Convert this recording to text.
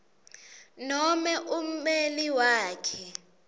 nome ummeli wakhe